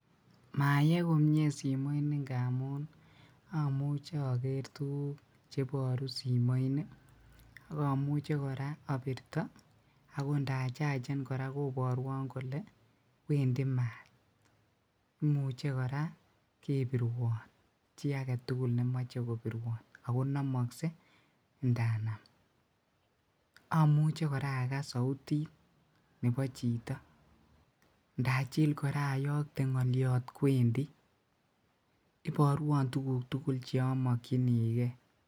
Mayee komie simoini ngamun omuche oker tuguk cheboru simoini akomuche obirto ako indachachen koraa koboruon kole wendi maat, imuche koraa kebiruon chi agetugul nemoe kobiruon akonomoksee ndanam, amuche koraa akas soutit nebo chito ndajil koraa oyokte ngoliot kwendi iboruon tuguk tugul chemokyinigee.